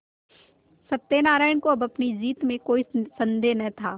सत्यनाराण को अब अपनी जीत में कोई सन्देह न था